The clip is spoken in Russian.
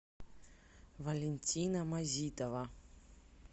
валентина мазитова